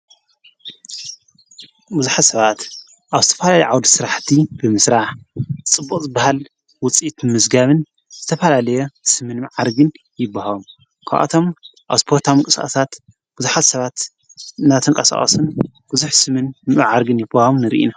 ብዙኃ ሰባት ኣብ ስተፍል ይዓውድ ሥራሕቲ ብምስራዓ ጽቡቕ ዝበሃል ውፂት ምዝጋብን ዘተፋላለየ ስምን መዓርግን ይብሃም ኳኣቶም ኣብ ስጰታም ቅሳታት ብዙኃት ሰባት ናተንቃሳዖስን ብዙኅ ስምን መዓርግን ይብሃም ንርኢ።